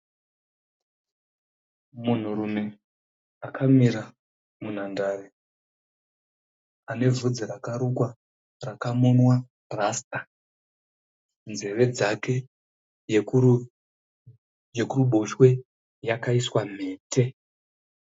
Munhurume akamira munhandare. Ane bvudzi rakarukwa rakamonwa rasita. Nzeve dzake yekuruboshwe yakaiswa mhete.